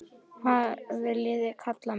Hvað viljiði kalla mig?